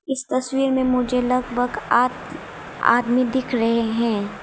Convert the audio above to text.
इस तस्वीर में मुझे लगभग आठ आदमी दिख रहे हैं।